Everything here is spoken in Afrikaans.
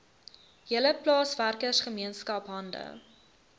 hele plaaswerkergemeenskap hande